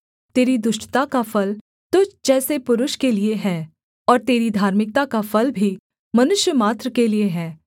तेरी दुष्टता का फल तुझ जैसे पुरुष के लिये है और तेरी धार्मिकता का फल भी मनुष्यमात्र के लिये है